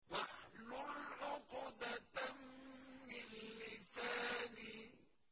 وَاحْلُلْ عُقْدَةً مِّن لِّسَانِي